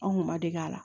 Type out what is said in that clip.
Anw kun ma dege a la